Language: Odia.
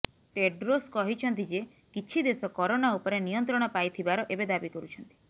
ଟେଡ୍ରୋସ୍ କହିଛନ୍ତି ଯେ କିଛି ଦେଶ କରୋନା ଉପରେ ନିୟନ୍ତ୍ରଣ ପାଇଥିବାର ଏବେ ଦାବି କରୁଛନ୍ତି